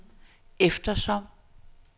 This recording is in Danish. eftersom